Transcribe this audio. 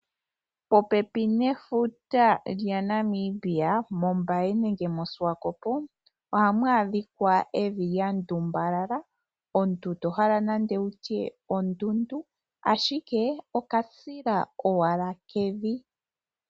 Popepi nefuta lyaNamibia mOmbaye nenge moSwakop ohamu adhika evi lya ndumbalala ,omuntu tohala nokutya ondundu ashike okasila owala kevi.